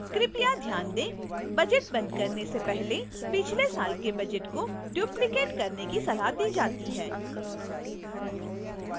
कृपया ध्यान दें